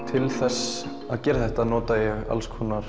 til þess að gera þetta nota ég